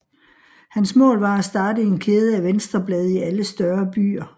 Hans mål var at starte en kæde af venstreblade i alle større byer